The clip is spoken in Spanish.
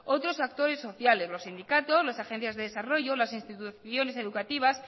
otros actores sociales los sindicatos las agencias de desarrollo las instituciones educativas